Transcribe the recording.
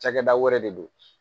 Cakɛda wɛrɛ de don